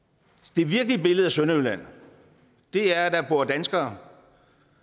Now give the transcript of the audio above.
det virkelige billede af sønderjylland er at der bor danskere